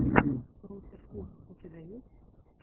русеркус у тебя есть